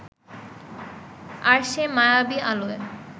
আর সেই মায়াবি আলোয়